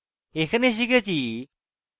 in tutorial শিখেছি: